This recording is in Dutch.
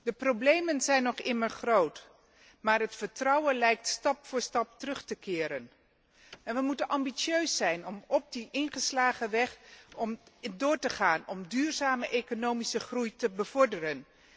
De problemen zijn nog immer groot, maar het vertrouwen lijkt stap voor stap terug te keren en we moeten ambitieus zijn om op die ingeslagen weg verder te gaan om duurzame economische groei te bevorderen.